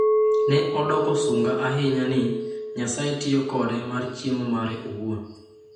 "Ne odoko sunga ahinya ni, ""Nyasaye tiyo kode mar chiemo mare owuon"".